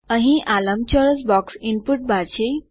અહીં આ લંબચોરસ બોક્સ ઇનપુટ બાર છે